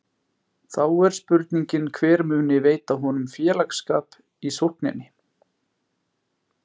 Þá er spurningin hver muni veita honum félagsskap í sókninni?